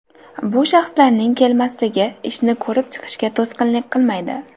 Bu shaxslarning kelmasligi ishni ko‘rib chiqishga to‘sqinlik qilmaydi.